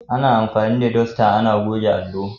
Ana anfani da dasta ana goge allo.